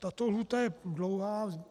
Tato lhůta je dlouhá.